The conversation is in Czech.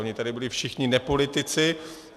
Oni tady byli všichni nepolitici.